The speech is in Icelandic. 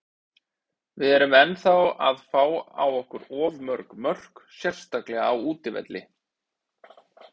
Við erum ennþá að fá á okkur of mörg mörk, sérstaklega á útivelli.